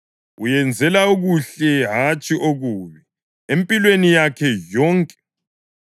Uyenzela okuhle, hatshi okubi, empilweni yakhe yonke.